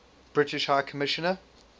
british high commissioner